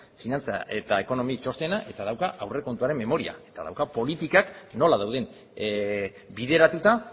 finantza eta ekonomi txostena dauka eta aurrekontuaren memoria dauka eta dauka politikak nola dauden bideratuta